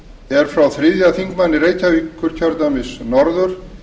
er frá þriðji þingmaður reykjavíkurkjördæmis norður